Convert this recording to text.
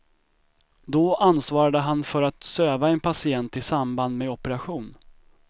Då ansvarade han för att söva en patient i samband med operation.